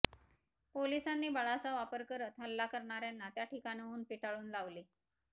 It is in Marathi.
पोलिसांनी बळाचा वापर करत हल्ला करणायांना त्याठिकाणाहून पिटाळून लावले